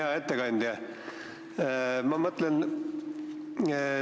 Hea ettekandja!